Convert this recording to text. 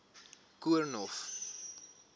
koornhof